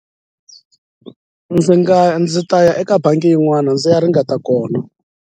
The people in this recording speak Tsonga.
Ndzi nga ndzi ta ya eka bangi yin'wana ndzi ya ringeta kona.